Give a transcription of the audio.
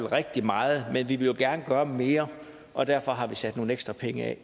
rigtig meget men vi vil jo gerne gøre mere og derfor har vi sat nogle ekstra penge